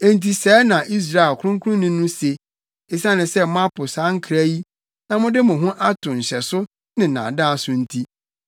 Enti sɛɛ na Israel Ɔkronkronni no se: “Esiane sɛ moapo saa nkra yi, na mode mo ho ato nhyɛso ne nnaadaa so nti,